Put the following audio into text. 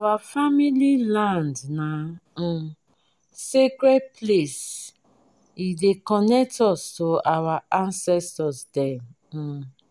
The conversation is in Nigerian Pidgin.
our family land na um sacred place e dey connect us to our ancestor dem. um